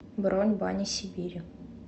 бронь бани сибири